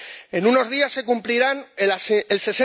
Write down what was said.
En unos días se cumplirá el